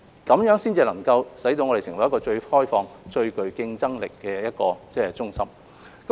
這樣才能令我們成為最開放、最具競爭力的中心。